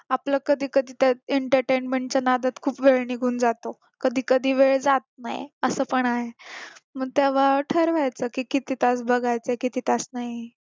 आपलं कधी कधी तर entertainment चा नादात खूप वेळ निघून जातो कधी कधी वेळ जात नाही असं पण आहे मग तेव्हा ठरवायचं की किती तास बघायचं किती तास नाही